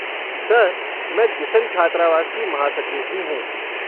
Sir, मैं दिसंग छात्रावास की महासचिव भी हूँ।